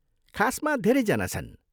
खासमा धेरैजना छन्।